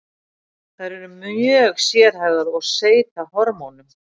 Þær eru mjög sérhæfðar og seyta hormónum.